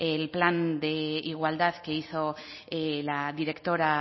el plan de igualdad que hizo la directora